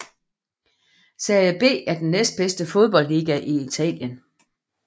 Serie B er den næstbedste fodboldliga i Italien